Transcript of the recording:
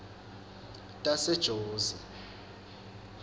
tasejozi